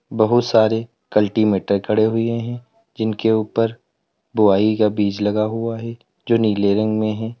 बहुत सारे कल्टीमीटर खड़े हुए है जिनके ऊपर बोवाई का बीज लगा हुआ है जो नीले रंग में है।